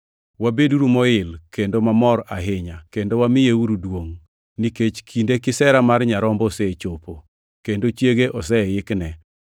Wabeduru moil kendo mamor ahinya kendo wamiyeuru duongʼ! Nikech kinde kisera mar Nyarombo osechopo, kendo chiege oseikne.